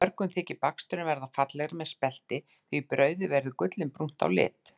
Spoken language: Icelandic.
Mörgum þykir baksturinn verða fallegri með spelti því brauðið verður gullinbrúnt á lit.